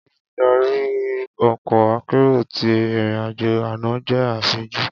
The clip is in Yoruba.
Oludari ọkọ akero ti irin-ajo ana jẹ afinju.